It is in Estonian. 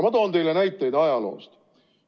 Ma toon teile näiteid ajaloost.